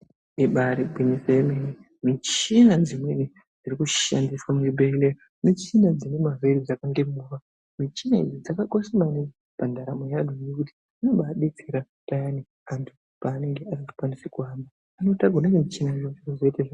Ibari gwinyiso yemene michina dzimweni dziri kudshandiswa muzvibhedhleya michina dzine mavhiri dzakange movha. Michina idzi dzakakosha maningi pandaramo yevantu. Ngekuti dzinobadetsera payani antu paanenge asingakwanisi kuhamba anotakurwa nemichina iyoyo vozvoite zvakanaka.